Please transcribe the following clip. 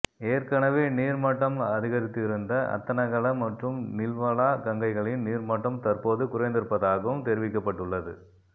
ஏற்கனவே நீர்மட்டம் அதிகரித்திருந்த அத்தனகல மற்றும் நில்வலா கங்கைகளின் நீர்மட்டம் தற்போது குறைந்திருப்பதாகவும் தெரிவிக்கப்பட்டுள்ளது